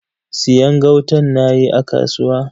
Siyan gautan nayi a kasuwa.